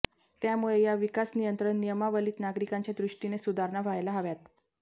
त्यामुळे या विकास नियंत्रण नियमावलीत नागरिकांच्या दृष्टीने सुधारणा व्हायला हव्यात